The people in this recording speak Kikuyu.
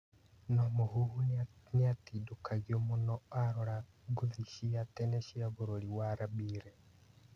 No Mũhuhu nĩatindĩkagũo mũno arora ngũthi cia tene cia bũrũri wa Rabire.